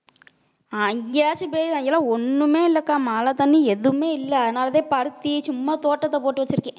அங்கேயாச்சும் பெய்து அங்கெல்லாம் ஒண்ணுமே இல்லைக்கா மழைத்தண்ணி எதுவுமே இல்லை அதனாலேதான் பருத்தி சும்மா தோட்டத்தை போட்டு வச்சிருக்கேன்